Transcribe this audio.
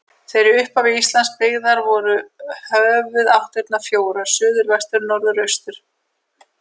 Þegar í upphafi Íslands byggðar voru höfuðáttirnar fjórar: suður, vestur, norður og austur.